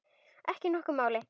Ekki nokkru máli.